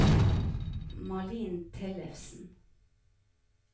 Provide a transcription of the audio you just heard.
Malin Tellefsen